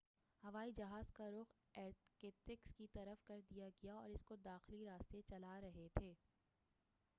ہوائی جہاز کا رخ ایرکتسک کی طرف کر دیا گیا تھا اور اس کو داخلی دستے چلارہے تھے